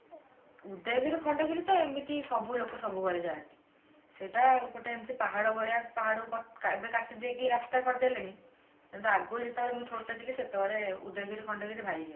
ଉଦୟଗିରୀ ଖଣ୍ଡଗିରି ତ ଏମିତି ସବୁ ଲୋକ ସବୁବେଳେ ଯାଆନ୍ତି ସେଇଟା ଗୋଟେ ଏମିତି ପାହାଡ ଭଳିଆ ପାହାଡ କଟା ଏବେ କାଟିଦେଇକି ରାସ୍ତା କରିଦେଲେଣି ଆଗରୁ ଯେତେବେଳେ ମୁଁ ଛୋଟ ଥିଲି ସେତେବେଳେ ଉଦୟଗିରୀ ଖଣ୍ଡଗିରି ଭାରି